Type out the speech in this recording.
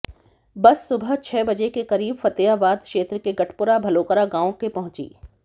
बस सुबह छह बजे के करीब फतेहाबाद क्षेत्र के गटपुरा भलोकरा गांव के पहुंची